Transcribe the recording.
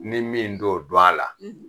Ni min t'o dɔn a la